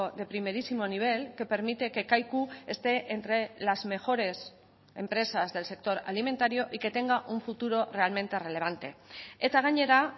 de primerísimo nivel que permite que kaiku esté entre las mejores empresas del sector alimentario y que tenga un futuro realmente relevante eta gainera